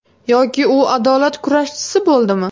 Yoki u adolat kurashchisi bo‘ldimi?